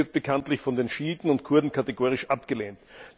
Das wird bekanntlich von den Schiiten und den Kurden kategorisch abgelehnt.